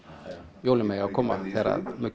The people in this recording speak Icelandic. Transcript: jólin mega koma þegar